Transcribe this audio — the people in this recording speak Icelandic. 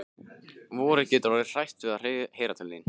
Vorið getur orðið hrætt við að heyra til þín.